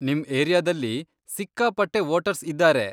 ನಿಮ್ ಏರಿಯಾದಲ್ಲಿ ಸಿಕ್ಕಾಪಟ್ಟೆ ವೋಟರ್ಸ್ ಇದ್ದಾರೆ.